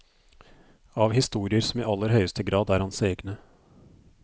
Av historier som i aller høyeste grad er hans egne.